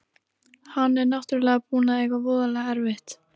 Hann er náttúrlega búinn að eiga voðalega erfitt.